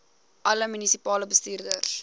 alle munisipale bestuurders